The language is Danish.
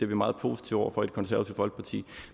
vi meget positive over for i det konservative folkeparti